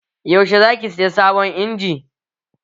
Yaushe za ki saya sabon injin?